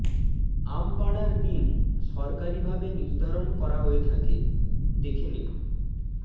আম পাড়ার দিন সরকারিভাবে নির্ধারণ করা হয়ে থাকে দেখে নিন